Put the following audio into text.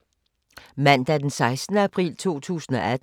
Mandag d. 16. april 2018